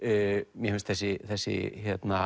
mér finnst þessi þessi